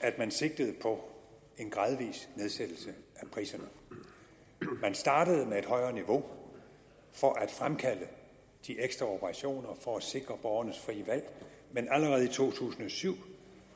at man sigtede på en gradvis nedsættelse af priserne man startede med et højere niveau for at fremkalde de ekstra operationer for at sikre borgernes frie valg men allerede i to tusind og syv